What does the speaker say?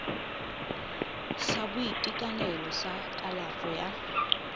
sa boitekanelo sa kalafo ya